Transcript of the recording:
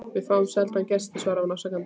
Við fáum sjaldan gesti svaraði hún afsakandi.